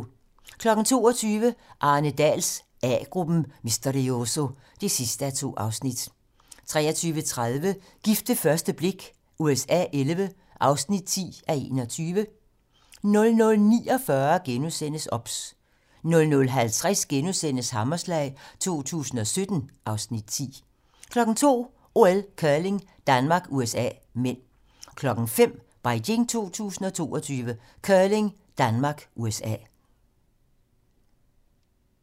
22:00: Arne Dahls A-gruppen: Misterioso (2:2) 23:30: Gift ved første blik USA XI (10:21) 00:49: OBS * 00:50: Hammerslag 2017 (Afs. 10)* 02:00: OL: Curling - Danmark-USA (m) 05:00: Beijing 2022: Curling: Danmark - USA